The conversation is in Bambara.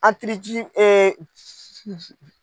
Antirici